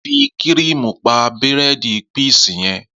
Fí kírìmù pa bírèèdì píísì yẹn!